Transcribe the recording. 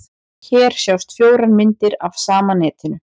Hér sjást fjórar myndir af sama netinu.